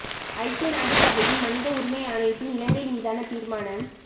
ஐக்கிய நாட்டு சபையின் மனித உரிமை ஆணையத்தின் இலங்கை மீதான தீர்மானம்